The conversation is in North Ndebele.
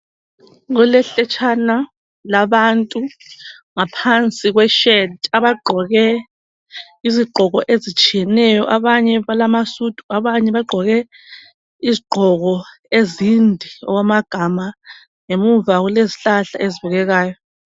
Kulehletshana labantu ngaphansi kweshedi abagqoke izigqoko ezitshiyeneyo. Abanye balamasudu, abanye bagqoke izigqoko ezinde okwamagama. Ngemuva kulezihlahla ezibukekayo.